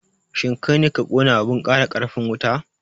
shin kaine ka kona abun ƙara ƙarfin wuta?